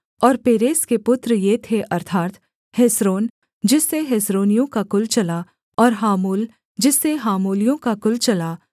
और पेरेस के पुत्र ये थे अर्थात् हेस्रोन जिससे हेस्रोनियों का कुल चला और हामूल जिससे हामूलियों का कुल चला